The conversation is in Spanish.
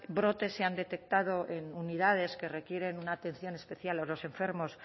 brotes se han detectado en unidades que requieren una atención especial a los enfermos